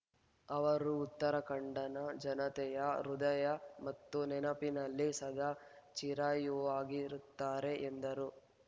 ಅವರು ಉತ್ತರಾಖಂಡ್‌ನ ಜನತೆಯ ಹೃದಯ ಮತ್ತು ನೆನಪಿನಲ್ಲಿ ಸದಾ ಚಿರಾಯುವಾಗಿರುತ್ತಾರೆ ಎಂದರು